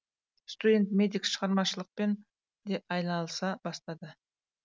студент медик шығармашылықпен де айналыса бастады